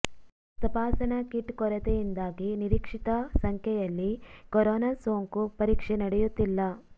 ತಪಾಸಣಾ ಕಿಟ್ ಕೊರತೆಯಿಂದಾಗಿ ನಿರೀಕ್ಷಿತ ಸಂಖ್ಯೆಯಲ್ಲಿ ಕೊರೊನಾ ಸೋಂಕು ಪರೀಕ್ಷೆ ನಡೆಯುತ್ತಿಲ್ಲ